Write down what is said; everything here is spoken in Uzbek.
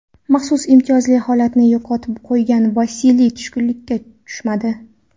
Maxsus imtiyozli holatini yo‘qotib qo‘ygan Vasiliy tushkunlikka tushmadi.